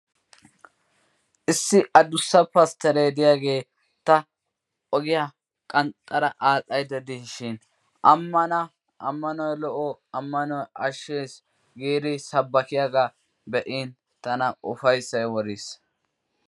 Issi adussa pastteree de'iyagee ta ogiya qanxxara aadhdhaydda diishi ammana ammanoy lo"o, ammanoy ashshees giidi sabbakkiyagaa be'in tana ufayssay woriis.